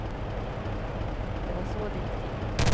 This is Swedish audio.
Det var så det gick till.